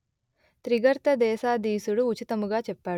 త్రిగర్త దేశాధీసుడు ఉచితముగా చెప్పాడు